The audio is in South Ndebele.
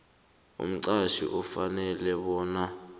umqhatjhi ufanele bona